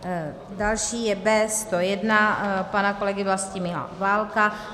Další je B101 pana kolegy Vlastimila Válka.